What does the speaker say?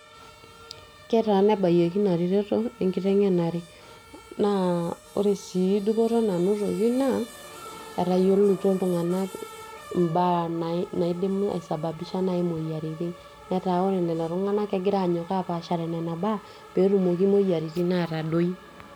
ketaana ebayieki ina reteto enkiteng'enare naa ore sii dupoto nanatoki naa etayioluto iltung'anak imbaa naidim aisababisha naaji imoyiaritin netaa ore lelo tung'anak kegira anyok apaashare nena baa peetumoki moyiaritin atadoi.